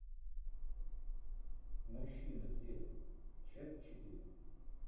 мужчины в деле часть четыре